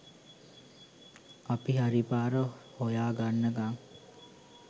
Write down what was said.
අපි හරි පාර හොයාගන්නකම්